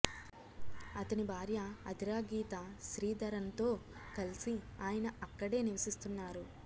అతని భార్య అథిరా గీతా శ్రీధరన్తో కలిసి ఆయన అక్కడే నివసిస్తున్నారు